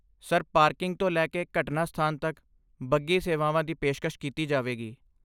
Sir, parking ਤੋਂ ਲੈ ਕੇ ਘਟਨਾ ਸਥਾਨ ਤੱਕ, ਬੱਗੀ ਸੇਵਾਵਾਂ ਦੀ ਪੇਸ਼ਕਸ਼ ਕੀਤੀ ਜਾਵੇਗੀ।